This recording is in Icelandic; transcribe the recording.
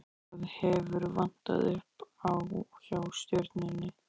Hvað hefur vantað upp á, hjá Stjörnunni?